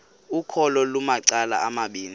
ukholo lunamacala amabini